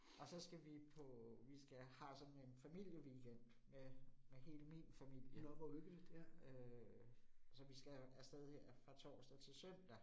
Og så skal vi på vi skal har sådan en familieweekend med med hele min familie øh. Så vi skal af sted her fra torsdag til søndag